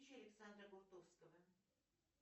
александра бутовского